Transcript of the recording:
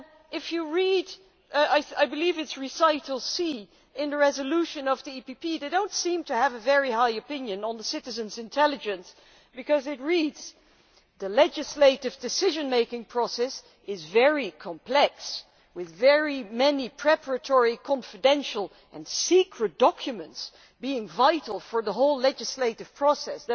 If you read I believe it is recital C in the EPP resolution they do not seem to have a very high opinion of citizens' intelligence, because it reads the legislative decision making process is very complex, with very many preparatory, confidential and secret documents being vital for the whole legislative process'.